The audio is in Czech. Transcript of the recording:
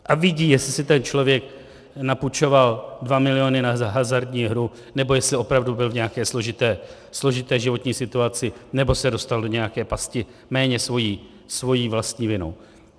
A vidí, jestli si ten člověk napůjčoval 2 miliony na hazardní hru, nebo jestli opravdu byl v nějaké složité životní situaci, nebo se dostal do nějaké pasti, méně svou vlastní vinou.